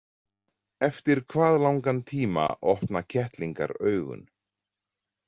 Eftir hvað langan tíma opna kettlingar augun?